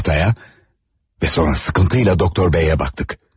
Taxtaya və sonra sıxıntıyla Doktor B-yə baxdıq.